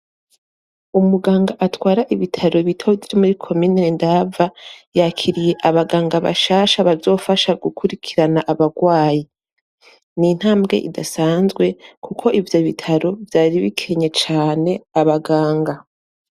Umuganga atwara ibitaro bitoyi vyo muri komine Ndava yakiriye abaganga bashasha bazofasha gukurikirana abagwayi. Ni intambwe idasanzwe, kuko ivyo bitaro vyari bikenye cane abaganga.